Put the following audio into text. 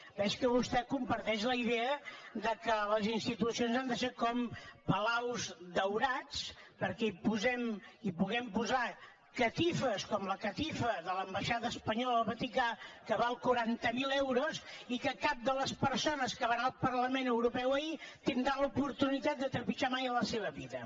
veig que vostè comparteix la idea de que les institucions han de ser com palaus daurats perquè hi puguem posar catifes com la catifa de l’ambaixada espanyola al vaticà que val quaranta mil euros i que cap de les persones que van anar al parlament europeu ahir tindran l’oportunitat de trepitjar mai en la seva vida